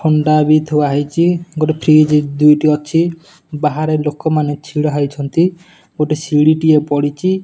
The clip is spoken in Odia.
ହଣ୍ଡା ବି ଥୁଆ ହୋଇଚି ଗୋଟେ ଫ୍ରିଜ୍ ଦୁଇଟି ଅଛି ବାହାରେ ଲୋକମାନେ ଛିଡ଼ାହୋଇଛନ୍ତି ଗୋଟେ ସିଡି ଟିଏ ପଡିଚି ।